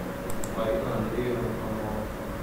марина андреевна панова